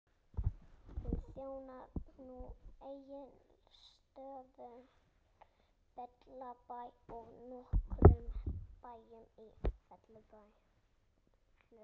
Hún þjónar nú Egilsstöðum, Fellabæ og nokkrum bæjum í Fellum.